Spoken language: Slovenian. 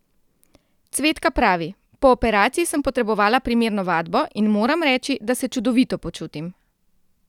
Cvetka pravi: "Po operaciji sem potrebovala primerno vadbo in moram reči, da se čudovito počutim.